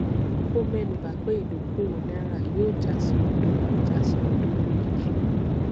ó mẹnu bà pé ìdókòwò náírà yóò já sí òdo já sí òdo lójijì